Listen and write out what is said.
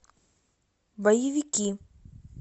боевики